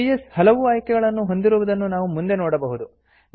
PS ಹಲವು ಆಯ್ಕೆಗಳನ್ನು ಹೊಂದಿರುವುದನ್ನು ನಾವು ಮುಂದೆ ನೋಡಬಹುದು